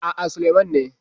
A'a, Sulaiman ne.